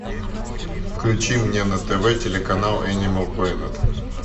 включи мне на тв телеканал энимал плэнет